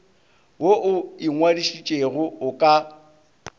wo o ingwadišitšego o ka